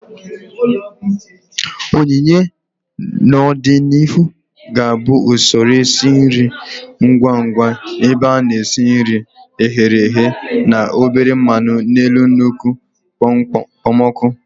oyiye, n'ọdịnihu, ga-abụ usoro esi nri ngwa ngwa ebe a na-esi nri e ghere eghe na obere mmanu n'elu nnukwu okpomọkụ.